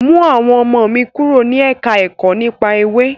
Mú àwọn ọmọ mi kúrò ní ẹ̀ka ẹ̀kọ́ nípa Ewé.